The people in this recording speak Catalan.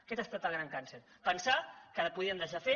aquest ha estat el gran càncer pensar que podien deixar fer